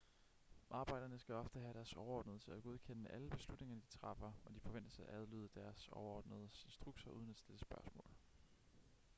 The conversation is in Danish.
arbejderne skal ofte have deres overordnede til at godkende alle beslutninger de træffer og de forventes at adlyde deres overordnedes instrukser uden at stille spørgsmål